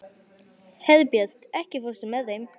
Herbjört, ekki fórstu með þeim?